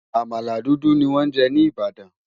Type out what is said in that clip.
àmàlà dúdú ní wón jé ní ibadan